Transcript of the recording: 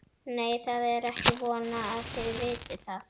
Nei, það er ekki von að þið vitið það.